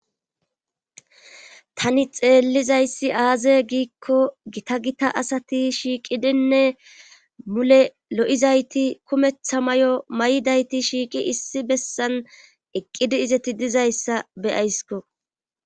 Tani xeellizayssi aaze giikko gita gita asati shiiqidinne mule lo7izayti kumetha may7o may7dayti shiiqi issi bessan eqqidi izeti dizayssa beyaysko